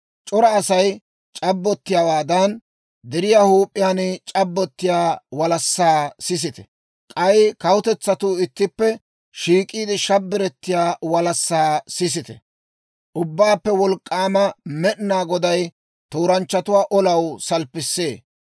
C'ora Asay c'abbottiyaawaadan, deriyaa huup'iyaan c'abbottiyaa walassaa sisite! K'ay kawutetsatuu ittippe shiik'iide shabbirettiyaa walassaa sisite! Ubbaappe Wolk'k'aama Med'inaa Goday tooranchchatuwaa olaw salppissee.